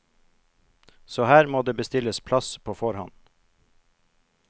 Så her må det bestilles plass på forhånd.